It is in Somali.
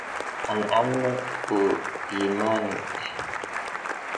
Aan cabno uu yimani eh.